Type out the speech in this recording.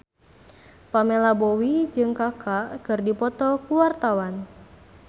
Pamela Bowie jeung Kaka keur dipoto ku wartawan